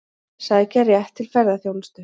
Sækja rétt til ferðaþjónustu